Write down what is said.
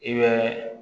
I bɛ